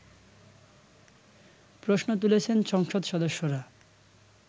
প্রশ্ন তুলেছেন সংসদ সদস্যরা